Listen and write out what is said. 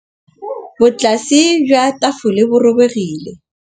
Botlasê jwa tafole bo robegile.